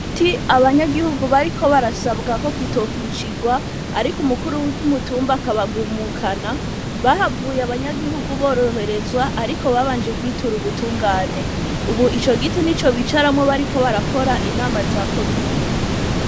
Igiti abanyagihugu bariko barasabwa ko kitokwicigwa ariko umukuru w'umutumba akabagumukana bahavuye abanyagihugu boroherezwa ariko babanje kwitura ubutungane, ubu ico giti nico bicaramwo bariko barakora inama za komine.